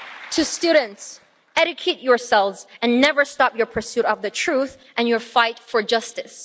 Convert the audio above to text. To students educate yourselves and never stop your pursuit of the truth and your fight for justice.